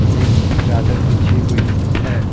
एक चादर बिछी हुई है।